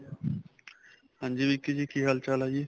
ਹਾਂਜੀ ਵਿੱਕੀ ਜੀ ਕੀ ਹਾਲ ਚਾਲ ਹੈ ਜੀ